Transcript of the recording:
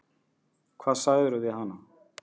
Hvað sagðirðu við hana?